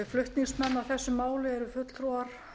flutningsmenn að þessu máli eru fulltrúar